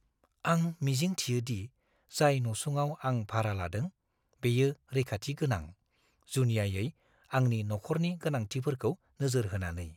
आं मिजिं थियो दि जाय नसुङाव आं भारा लादों, बेयो रैखाथि गोनां, जुनियायै आंनि नखरनि गोनांथिफोरखौ नोजोर होनानै।